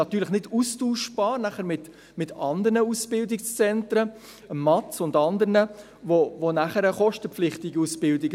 Natürlich ist dies nicht austauschbar mit anderen Ausbildungszentren wie dem Medienausbildungszentrum (MAZ) und anderen, wo die Ausbildungen kostenpflichtig sind.